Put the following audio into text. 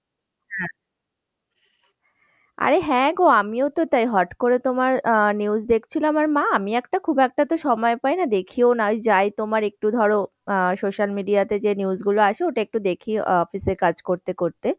আরে হ্যাগো আমিওতো তা-ই। হুট করে তোমার news দেখছিলাম আর না আমি একটা খুব একটাতো সময় পাই না, দেখিও না। ওই যাই তোমার একটু ধরো আহ social media যে news গুলো আসে ওটা একটু দেখি office এ কাজ করতে করতে।